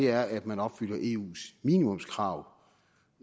er at man opfylder eus minimumskrav